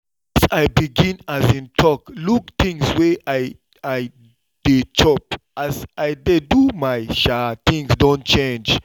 since i begin um look things wey i i dey chop as i dey do my um things don change